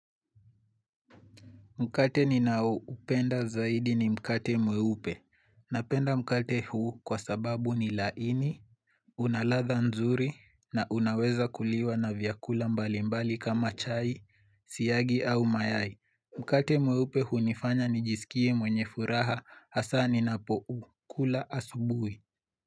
Mkate ninaoupenda zaidi ni mkate mweupe. Napenda mkate huu kwa sababu ni laini, unaladha nzuri na unaweza kuliwa na vyakula mbali mbali kama chai, siyagi au mayai. Mkate mweupe hunifanya nijisikie mwenye furaha hasa ni napoukula asubuhi.